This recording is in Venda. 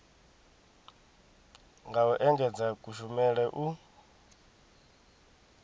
nga u engedzedza kushumele u